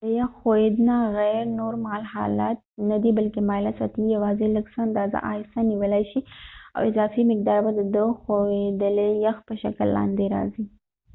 د یخ ښوییدنه غیر نورمال حالت ندی بلکې مایله سطحې یواځې لږ څه اندازه آهسته نیولای شي او اضافي مقدار به د د ښویدلي یخ په شکل لاندې راځې